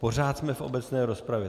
Pořád jsme v obecné rozpravě.